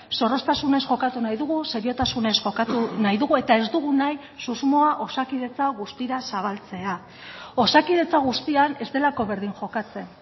zorroztasunez jokatu nahi dugu seriotasunez jokatu nahi dugu eta ez dugu nahi susmoa osakidetza guztira zabaltzea osakidetza guztian ez delako berdin jokatzen